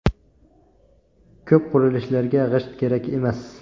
Ko‘p qurilishlarga g‘isht kerak emas.